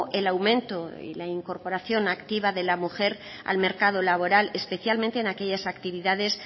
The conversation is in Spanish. el aumento y la incorporación activa de la mujer al mercado laboral especialmente en aquellas actividades